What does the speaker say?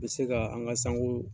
Bɛ se ka an ka sanko